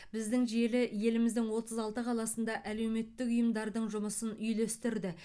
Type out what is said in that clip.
біздің желі еліміздің отыз алты қаласында әлеуметтік ұйымдардың жұмысын үйлестірді